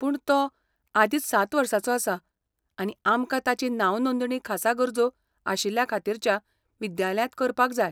पूण, तो आदींच सात वर्सांचो आसा आनी आमकां ताची नांवनोदणी खासा गरजो आशिल्ल्यां खातीरच्या विद्यालयांत करपाक जाय.